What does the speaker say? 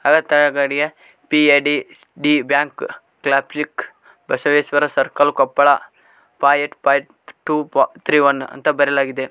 ತಗಡಿಯ P A D D bank Basaveshwara circle Koppal five eight five two three one ಅಂತ ಬರೆಯಲಾಗಿದೆ.